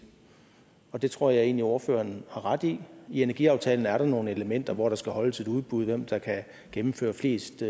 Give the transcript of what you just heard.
og det tror jeg egentlig ordføreren har ret i i energiaftalen er der nogle elementer hvor der skal holdes et udbud altså hvem der kan gennemføre flest